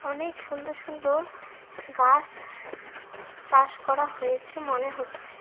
অনেক সুন্দর সুন্দর গাস চাষ করা হয়েছে মনে হচ্ছে।